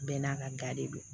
Bɛɛ n'a ka ga de don